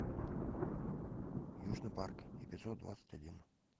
южный парк эпизод двадцать один